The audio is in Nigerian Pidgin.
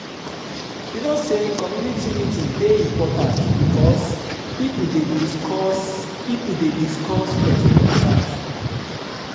you know sey community meetings dey important bikos pipo dey discuss pipo dey discuss plenty concerns.